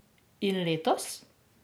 In letos?